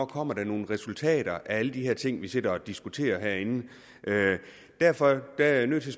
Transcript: kommer nogle resultater ud af alle de her ting vi sidder og diskuterer herinde derfor er jeg nødt til